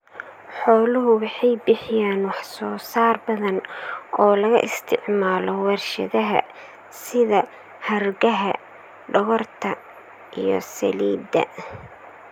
Xooluhu waxay bixiyaan waxsoosaar badan oo laga isticmaalo warshadaha sida hargaha, dhogorta, iyo saliidda.